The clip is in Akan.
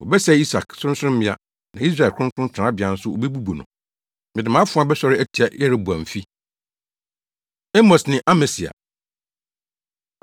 “Wɔbɛsɛe Isak sorɔnsorɔmmea na Israel kronkron tenabea nso wobebubu no; mede mʼafoa bɛsɔre atia Yeroboamfi.” Amos Ne Amasia